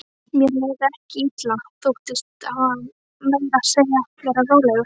Mér leið ekki illa, þóttist meira að segja vera rólegur.